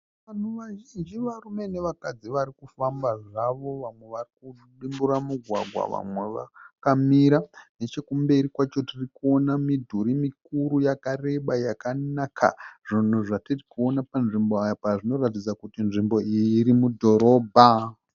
Vanhu vazhinji varume nevakadzi varikufamba zvavo, vamwe varikudimbura mugwagwa vamwe vakamira. Nechokumberi kwacho tirikuona midhuri mikuru yakareba yakanaka. Zvunhu zvatiri kuona panzvimbo apa zvinoratidza kuti nzvimbo iyi irimudhorobha.